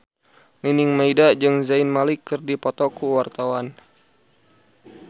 Nining Meida jeung Zayn Malik keur dipoto ku wartawan